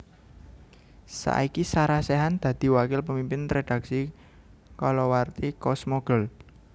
Saiki Sarah Sechan dadi Wakil Pemimpin Redaksi kalawarti Cosmo Girl